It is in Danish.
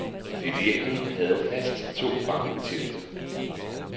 Filialen havde fast to bankbetjente.